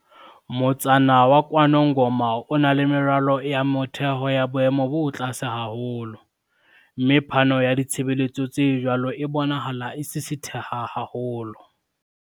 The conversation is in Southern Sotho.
"Motsana wa KwaNongoma o na le meralo ya motheo ya boemo bo tlase haholo, mme phano ya ditshebeletso tse jwalo e bonahala e sisitheha haholo."